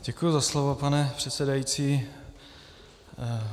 Děkuji za slovo, pane předsedající.